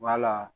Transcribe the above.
Wala